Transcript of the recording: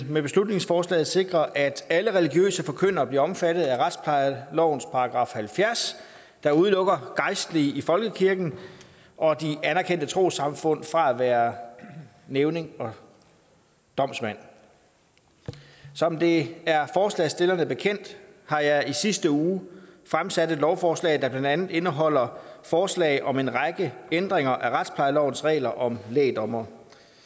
med beslutningsforslaget sikre at alle religiøse forkyndere bliver omfattet af retsplejelovens § halvfjerds der udelukker gejstlige i folkekirken og de anerkendte trossamfund fra at være nævninge og domsmænd som det er forslagsstillerne bekendt har jeg i sidste uge fremsat et lovforslag der blandt andet indeholder forslag om en række ændringer af retsplejelovens regler om lægdommere